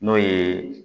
N'o ye